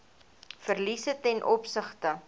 verliese ten opsigte